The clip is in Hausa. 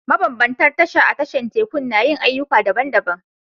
Mabambantan tasha a tashar tekun na yin ayyuka daban-daban